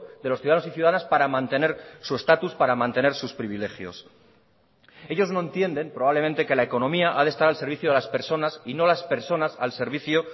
de los ciudadanos y ciudadanas para mantener su estatus para mantener sus privilegios ellos no entienden probablemente que la economía ha de estar al servicio de las personas y no las personas al servicio